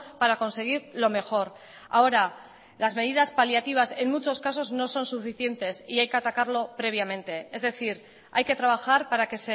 para conseguir lo mejor ahora las medidas paliativas en muchos casos no son suficientes y hay que atacarlo previamente es decir hay que trabajar para que